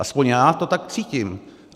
Alespoň já to tak cítím.